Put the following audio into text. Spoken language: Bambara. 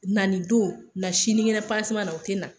Na nin don, na sinikɛnɛ panseman na, o tɛ na.